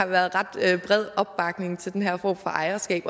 været ret bred opbakning til den her form for ejerskab